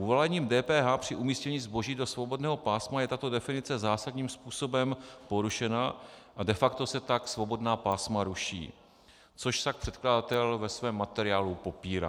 Uvalením DPH při umístění zboží do svobodného pásma je tato definice zásadním způsobem porušena a de facto se tak svobodná pásma ruší, což však předkladatel ve svém materiálu popírá.